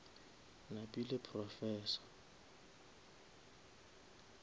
napile professor